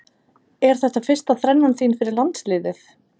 Er þetta fyrsta þrennan þín fyrir landsliðið?